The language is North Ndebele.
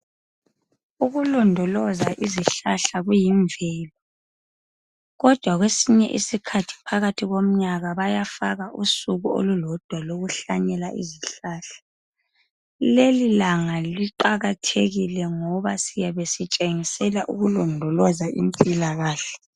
Ukulondoloza izihlahla kuyimvelo kodwa kwesinye isikhathi phakathi komnyaka bayafaka usuku olulodwa lokuhlanyela izihlahla. Leli langa liqakathekile ngoba siyabe sitshengisela ukulondoloza impilakahle